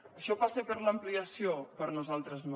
això passa per l’ampliació per nosaltres no